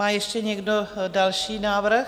Má ještě někdo další návrh?